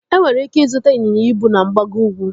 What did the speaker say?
Enwere ike ịzụta ịnyịnya ibu na mgbago ukwu.